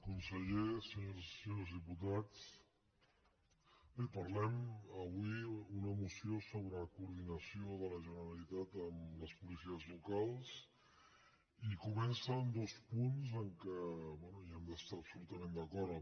conseller senyores i senyors diputats bé parlem avui d’una moció sobre la coordinació de la generalitat amb les policies locals i comença amb dos punts amb què bé hi hem d’estar absolutament d’acord